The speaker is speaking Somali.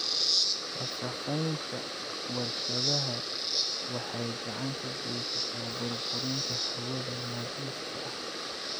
Wasakheynta warshadaha waxay gacan ka geysataa burburinta hawada nadiifka ah.